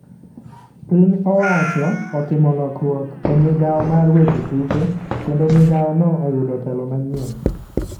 Piny owacho otimo lokruok e migao mar weche tuke ,kendo migao no oyudo telo manyien.